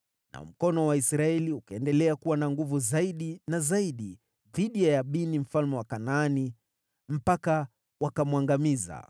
Nao mkono wa Waisraeli ukaendelea kuwa na nguvu zaidi na zaidi dhidi ya Yabini, mfalme wa Kanaani, mpaka wakamwangamiza.